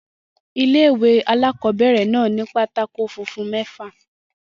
Ilé-ìwé alákobẹ̀rẹ̀ náà ni pátákó funfun mẹ́fà